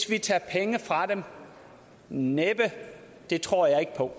vi tager penge fra dem næppe det tror jeg ikke på